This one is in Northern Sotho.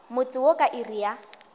motse wo ka iri ya